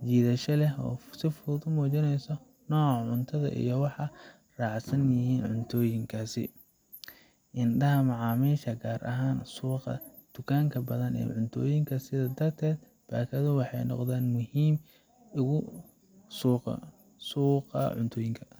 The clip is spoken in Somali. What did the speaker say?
sojidasho leh oo si fudud u habeyneso oo noca cunto iyo waxa racsan cuntoyinka .Indhaha macamisha gaar ahan suqa inta badan suqa, suqa cuntoyinka.